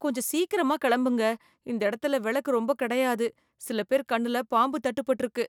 கொஞ்சம் சீக்கிரமா கெளம்புங்க, இந்த இடத்துல வெளக்கு ரொம்ப கிடையாது, சில பேர் கண்ணுல பாம்பு தட்டுபட்டுருக்கு.